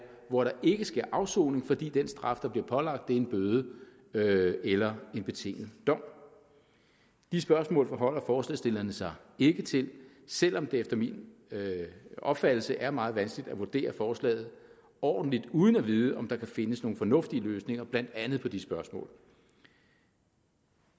hvor der ikke sker afsoning fordi den straf der bliver pålagt er en bøde bøde eller en betinget dom de spørgsmål forholder forslagsstillerne sig ikke til selv om det efter min opfattelse er meget vanskeligt at vurdere forslaget ordentligt uden at vide om der kan findes nogle fornuftige løsninger blandt andet hvad angår de spørgsmål